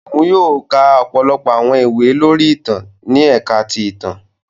Òun yóò ka ọpọlọpọ awọn ìwé lori ìtàn ni ẹka ti ìtàn.